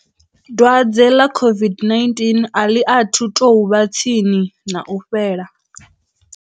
Dwadze ḽa COVID-19 a ḽi athu tou vha tsini na u fhela.